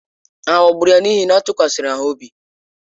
A ghọgburu ya n’ihi na ọ tụkwasịrị ha obi?